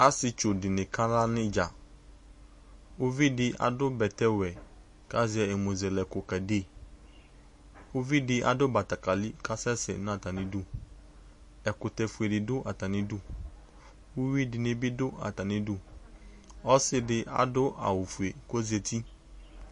Asɩetsudɩnɩ kala n'ɩdza Uvidï adʋ bɛtɛwɛ kazɛ ɛmɔzele ɛkʋ kade Uvidɩ adʋ batakali kasɛ sɛ n'atamidʋ Ɛkʋtɛ fuedɩ dʋ atamidu ; uyuiidɩnɩ bɩ dʋ atamidu , ɔsɩdɩ adʋ awʋfue k'ozati